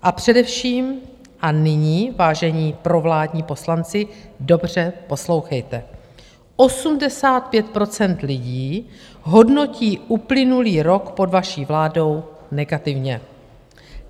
A především, a nyní, vážení provládní poslanci, dobře poslouchejte, 85 % lidí hodnotí uplynulý rok pod vaší vládou negativně.